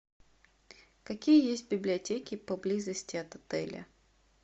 какие есть библиотеки поблизости от отеля